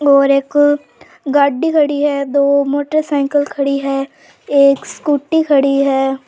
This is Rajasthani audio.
और एक गाड़ी खड़ी है दो मोटरसाइकिल खड़ी है एक स्कूटी खड़ी है।